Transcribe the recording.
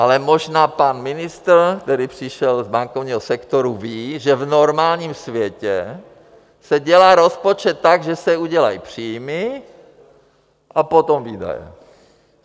Ale možná pan ministr, který přišel z bankovního sektoru, ví, že v normálním světě se dělá rozpočet tak, že se udělají příjmy a potom výdaje.